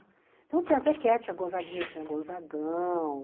Então tinha a Zequette, a Gonzaguinha, tinha a Gonzagão.